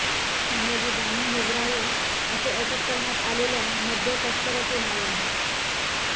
शंभाजी दामू हिवराळे असे अटक करण्यात आलेल्या मद्य तस्कराचे नाव आहे